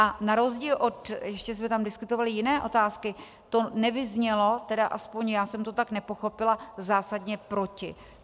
A na rozdíl od - ještě jsme tam diskutovali jiné otázky - to nevyznělo, tedy aspoň já jsem to tak nepochopila, zásadně proti.